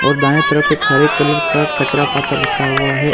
और दाएं तरफ एक हरे कलर का कचरा पात्र रखा हुआ है।